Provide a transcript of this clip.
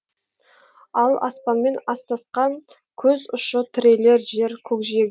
ал аспанмен астасқан көз ұшы тірелер жер көкжиек